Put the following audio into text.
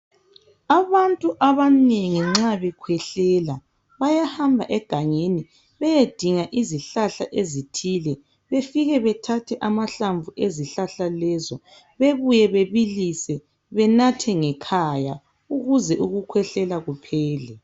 Abantu ababengi nxa bekhwehlela bayahamba egangeni beyedinga izihlahla ezithile befike bethathe amahlamvu ezihlahla lezo bebuye bebilise benathe ngekhaya ukuze ukukhwehlela kuphele.